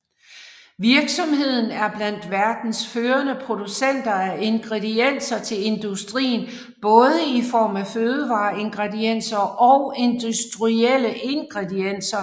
Virksomheden er blandt verdens førende producenter af ingredienser til industrien både i form af fødevareingredienser og industrielle ingredienser